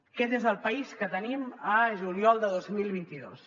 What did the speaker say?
aquest és el país que tenim a juliol de dos mil vint dos